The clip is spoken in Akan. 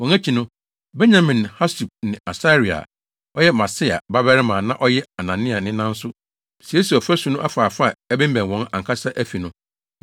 Wɔn akyi no, Benyamin ne Hasub ne Asaria a ɔyɛ Maaseia babarima a na ɔyɛ Anania nena nso siesiee ɔfasu no afaafa a ɛbemmɛn wɔn ankasa afi no.